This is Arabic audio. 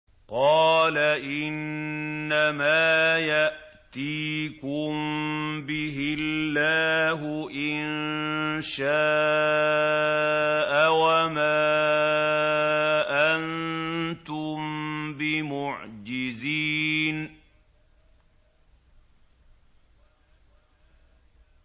قَالَ إِنَّمَا يَأْتِيكُم بِهِ اللَّهُ إِن شَاءَ وَمَا أَنتُم بِمُعْجِزِينَ